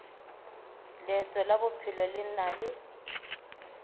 leeto la bophelo le na